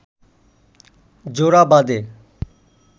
জোড়া বাঁধে